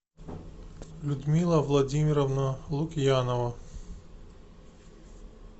людмила владимировна лукьянова